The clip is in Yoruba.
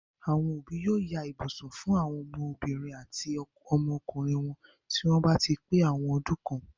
Àwọn òbí yóò ya ibùsùn fún àwọn ọmọbìnrin àti ọmọkùnrin wọn tí wọ́n bá ti pé àwọn ọdún kan.